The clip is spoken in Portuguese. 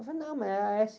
Eu falei, não, mas é á-ésse